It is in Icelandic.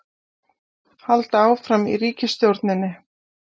Halda áfram í ríkisstjórninni